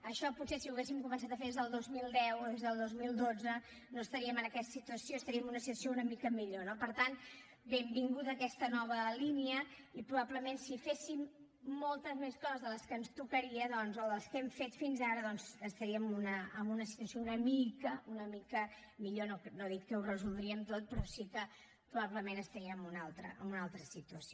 això potser si ho haguéssim començat a fer des del dos mil deu o des del dos mil dotze no estaríem en aquesta situació estaríem en una situació una mica millor no per tant benvinguda aquesta nova línia i probablement si féssim moltes més coses de les que ens tocaria o de les que hem fet fins ara doncs estaríem en una situació una mica una mica millor no dic que ho resoldríem tot però sí que probablement estaríem en una altra situació